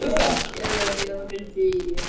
Eða hafði gleymt því í amstri daganna.